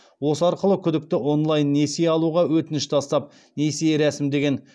осы арқылы күдікті онлайн несие алуға өтініш тастап несие рәсімдеген